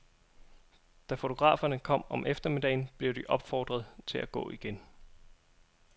Da fotograferne kom om eftermiddagen, blev de opfordret til at gå igen.